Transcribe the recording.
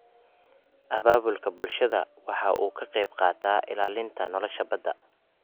Abaabulka bulshadu waxa uu ka qayb qaataa ilaalinta nolosha badda.